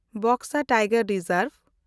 Buxa tiger reserve